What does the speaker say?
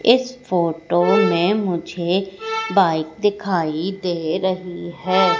इस फोटो में मुझे बाइक दिखाई दे रही है।